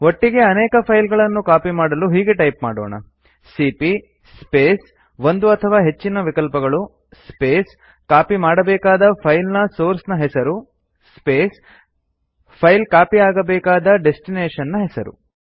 ಒಟ್ಟಿಗೇ ಅನೇಕ ಫೈಲ್ ಗಳನ್ನು ಕಾಪಿ ಮಾಡಲು ಹೀಗೆ ಟೈಪ್ ಮಾಡೋಣ ಸಿಪಿಯ ಸ್ಪೇಸ್ ಒಂದು ಅಥವಾ ಹೆಚ್ಚಿನ ವಿಕಲ್ಪಗಳು ಸ್ಪೇಸ್ ಕಾಪಿ ಮಾಡಬೇಕಾದ ಫೈಲ್ ನ ಸೋರ್ಸ್ ನ ಹೆಸರು ಸ್ಪೇಸ್ ಫೈಲ್ ಕಾಪಿ ಆಗಬೇಕಾದ ಡೆಸ್ಟಿನೇಶನ್ ನ ಹೆಸರು